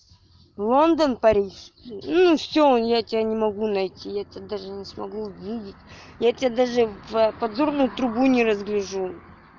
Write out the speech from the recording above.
лондон-париж ну и всё он я тебя не могу найти я тебя даже не смогу увидеть я тебя даже в подзорную трубу не разгляжу